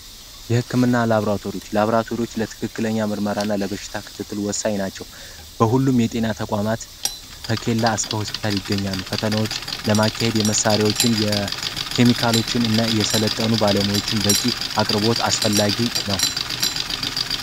የህክምና ላቦራቶች ላቦራቶሪዎች ትክክለኛ ለበሽታ ክትትል ወሳኝ ናቸው የጤና ተቋማት ከኬላ እስከ ሆስፒታል ይገኛሉ ፈተናዎች ለማካሄድ የመሳሪያዎችን የኬሚካሎችን እና የሰለጠኑ ባለሙያዎችን በቂ አቅርቦት አስፈላጊ ነው።